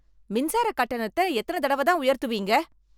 மின்சாரக் கட்டணத்த எத்தன தடவ தான் உயர்த்துவீங்க?